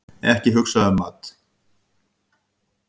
Ekki hugsa um mat!